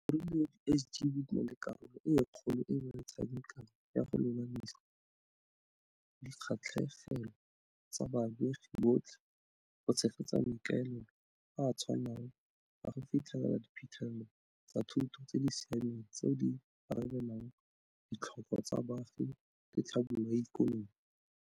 O rile di SGB di na le karolo e kgolo e ba e tshamekang ya go lolamisa dikgatlhegelo tsa baamegi botlhe go tshegetsa maikaelelo a a tshwanang a go fitlhelela diphitlhelelo tsa thuto tse di siameng tseo di arabelang ditlhoko tsa baagi le tlhabololo ya ikonomi.